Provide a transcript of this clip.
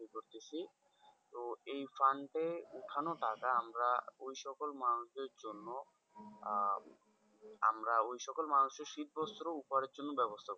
তো fund এ উঠনো টাকা আমরা ওই সকল মানুষদের জন্য আহ আমরা ওই সকল মানুষদের শীতবস্ত্র উপহারের জন্য ব্যাবস্থা করবো,